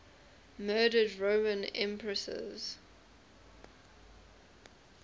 murdered roman empresses